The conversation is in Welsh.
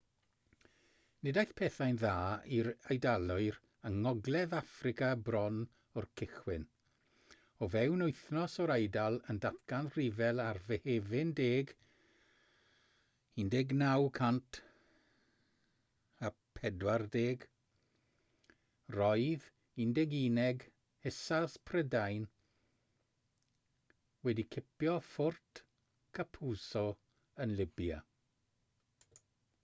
nid aeth pethau'n dda i'r eidalwyr yng ngogledd affrica bron o'r cychwyn o fewn wythnos o'r eidal yn datgan rhyfel ar fehefin 10 1940 roedd 11eg hussars prydain wedi cipio fort capuzzo yn libya